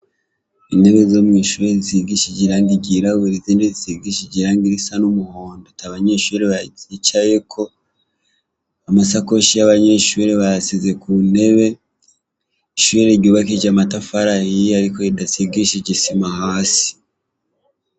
intebe zo mw'ishure zisigishije irangi ryirabura zisigishije irangi risa n'umuhondo ata banyeshure bazicayeko. Amasakoshi yabo banyeshure bayashize ku ntebe. Ishure ryubakishijwe amatafari ahiye ariko ridasigishije isima hasi.